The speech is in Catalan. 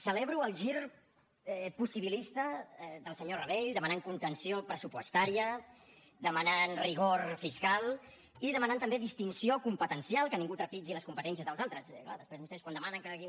celebro el gir possibilista del senyor rabell per demanar contenció pressupostària per demanar rigor fiscal i per demanar també distinció competencial que ningú trepitgi les competències dels altres clar després vostès quan demanen que aquí